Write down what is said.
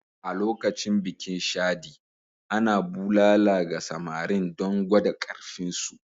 A lokacin bikin Shadi, ana bulala ga samarin don gwada ƙarfinsu.